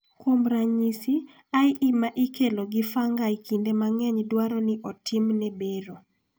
Kuom ranyisi, IE ma kelo gi fungi kinde mang�eny dwaro ni otimne bero.